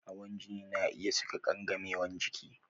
Hawan jini na iya saka kangamewan jiki